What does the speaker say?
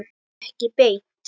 Ekki beint